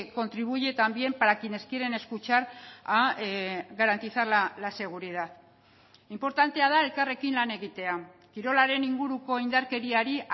contribuye también para quienes quieren escuchar a garantizar la seguridad inportantea da elkarrekin lan egitea kirolaren inguruko indarkeriari